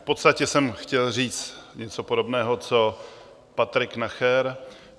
V podstatě jsem chtěl říct něco podobného co Patrik Nacher.